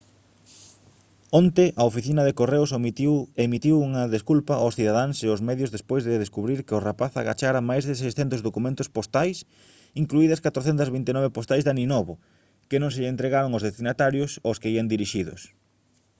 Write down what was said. onte a oficina de correos emitiu unha desculpa aos cidadáns e aos medios despois de descubrir que o rapaz agachara máis de 600 documentos postais incluídas 429 postais de aninovo que non se lle entregaron aos destinatarios aos que ían dirixidos